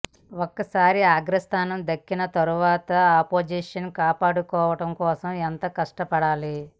ఒకసారి అగ్ర స్థానం దక్కిన తరువాత ఆ పొజిషన్ కాపాడుకోవటం కోసం ఎంతో కష్టపడాలి